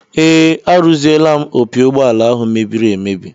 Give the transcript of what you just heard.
Ee, arụziela m opi ụgbọala ahụ mebiri emebi